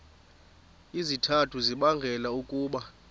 izizathu ezibangela ukuba